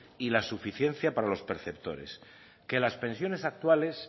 y la suficiencia para los perceptores que las pensiones actuales